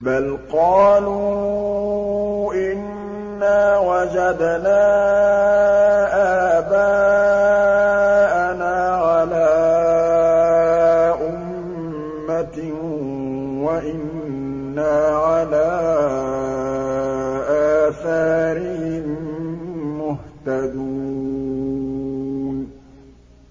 بَلْ قَالُوا إِنَّا وَجَدْنَا آبَاءَنَا عَلَىٰ أُمَّةٍ وَإِنَّا عَلَىٰ آثَارِهِم مُّهْتَدُونَ